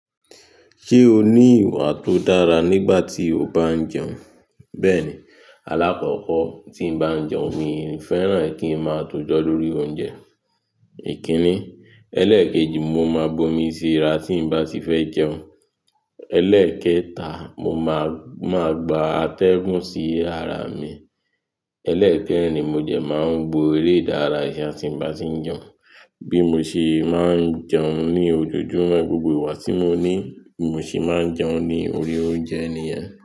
Ṣé o ní ìwà tó dára nígbà tí o bá ń jẹun? Bẹ́ẹ̀ni, alákọ̀kọ́ tí n bá ń jẹun, mi ń fẹ́ràn kí ń má tó jọ lóri oúnjẹ. Èkinní, ẹlẹ́ẹ̀kejì, mo máa bomi síra tí n bá ti fẹ́ jẹun. Ẹlẹ́ẹ̀kẹta, mo máa, máa gba atẹ́gùn sí ara mi. Ẹlẹ́ẹ̀kẹrin ni mo de máa ń wo eré ìdárayá tí n bá ti ń jẹun. Bí mo ṣe máa ń jẹun ní ojojúmọ́, gbogbo ìgba tí mo ní mo sì máa ń jẹun ní orí oúnjẹ nìyẹn.